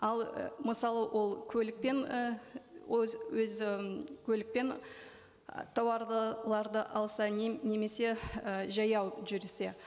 ал і мысалы ол көлікпен і өзі м көлікпен і тауарды алса немесе і жаяу жүрсе